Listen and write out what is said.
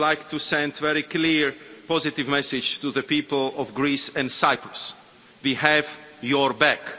I would like to send a very clear and positive message to the people of Greece and Cyprus we have your back.